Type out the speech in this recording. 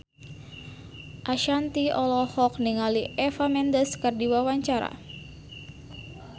Ashanti olohok ningali Eva Mendes keur diwawancara